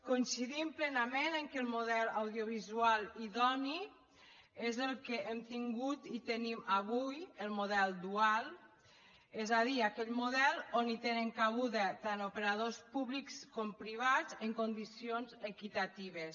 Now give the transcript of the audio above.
coincidim plenament que el model audiovisual idoni és el que hem tingut i tenim avui el model dual és a dir aquell model on tenen cabuda tant operadors públics com privats en condicions equitatives